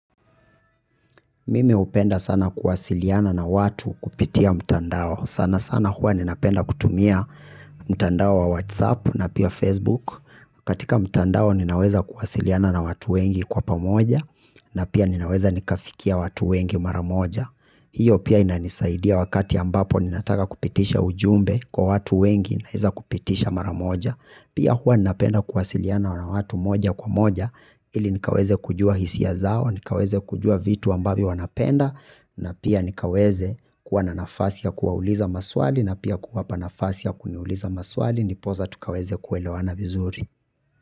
Mimi hupenda sana kuwasiliana na watu kupitia mtandao sana sana huwa ninapenda kutumia mtandao wa whatsapp na pia facebook katika mtandao ninaweza kuwasiliana na watu wengi kwa pamoja na pia ninaweza nikafikia watu wengi mara moja hiyo pia inanisaidia wakati ambapo ninataka kupitisha ujumbe kwa watu wengi naweza kupitisha mara moja Pia huwa napenda kuwasiliana na watu moja kwa moja ili nikaweza kujua hisia zao, nikaweza kujua vitu ambavyo wanapenda na pia nikaweza kuwa na nafasi ya kuwauliza maswali na pia kuwapa nafasi ya kuniuliza maswali ndiposa tukaweza kuelewana vizuri.